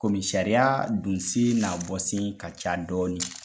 Komi sariya don sen n'a bɔ sen ka ca dɔɔnin,